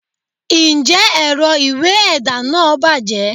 njẹ erò ìwé ẹda nah bajé?